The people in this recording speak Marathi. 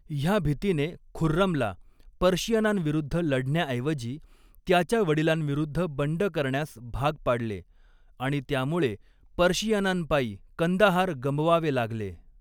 ह्या भीतीने खुर्रमला, पर्शियनांविरुद्ध लढण्याऐवजी त्याच्या वडिलांविरुद्ध बंड करण्यास भाग पाडले आणि त्यामुळे पर्शियनांपायी कंदाहार गमवावे लागले.